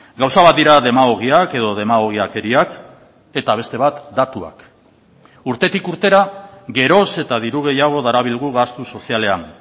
gauza bat dira demagogiak edo demagogiakeriak eta beste bat datuak urtetik urtera geroz eta diru gehiago darabilgu gastu sozialean